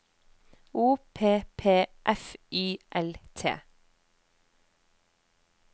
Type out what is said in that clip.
O P P F Y L T